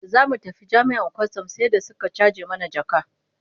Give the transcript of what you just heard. Da za mu tafi jami'an kwastam sai da suka caje mana jaka.